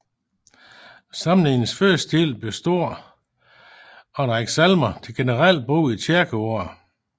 Samlingens første del består er en række salmer til generelt brug i kirkeåret